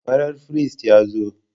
Farar firist ya zo.